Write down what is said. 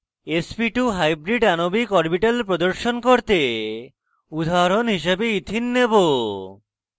sp2 hybrid আণবিক orbital প্রদর্শন করতে উদাহরণ হিসাবে ইথিন নেবো